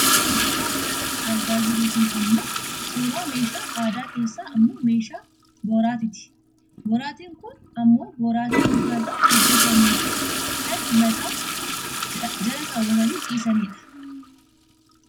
Wanti nuti suuraa kana irratti argaa jirru kun ammoo suuraa meeshaa aadaa keessaa ammoo meeshaa boraatiiti. Boraatiin kun ammoo boraatii muka irraa hojjatamuu fi kan mataa jala kaawwatanii ciisani dha.